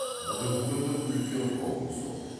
бүгінгі күннің үлкен қаупі сол